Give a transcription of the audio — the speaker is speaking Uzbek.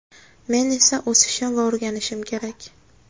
Men esa o‘sishim va o‘rganishim kerak.